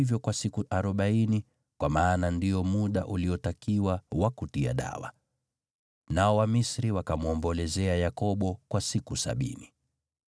wakatumia siku arobaini, kwa maana ndio muda uliotakiwa wa kutia dawa ili asioze. Nao Wamisri wakamwombolezea Yakobo kwa siku sabini.